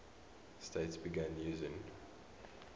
states began using